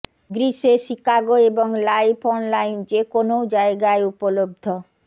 গ্রীষ্মে শিকাগো এবং live online যে কোনও জায়গায় উপলব্ধ